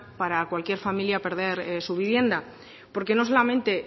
para cualquier familia perder su vivienda porque no solamente